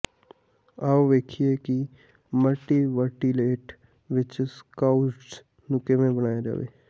ਆਉ ਵੇਖੀਏ ਕਿ ਮਲਟੀਵਰਟੀਏਟ ਵਿੱਚ ਸਕਿਉਡਜ਼ ਨੂੰ ਕਿਵੇਂ ਬਣਾਇਆ ਜਾਵੇ